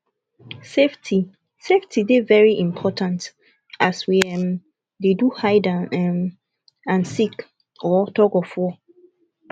safety safety dey very important as we um dey do hide um and seek or thug of war